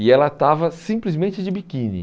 E ela estava simplesmente de biquíni.